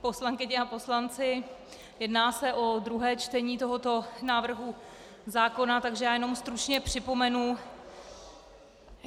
Poslankyně a poslanci, jedná se o druhé čtení tohoto návrhu zákona, takže já jenom stručně připomenu...